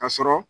Ka sɔrɔ